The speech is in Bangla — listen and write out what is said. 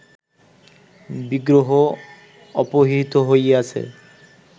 বিগ্রহ অপহৃত হইয়াছে